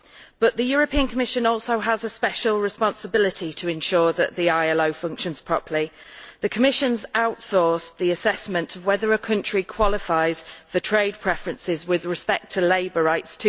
But the Commission also has a special responsibility to ensure that the ILO functions properly. The Commission has outsourced to the ILO the assessment of whether a country qualifies for trade preferences with respect to labour rights.